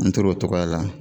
An tora o cogoya la